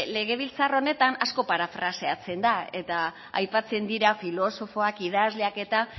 legebiltzar honetan asko parafraseatzen da eta aipatzen dira filosofoak idazleak eta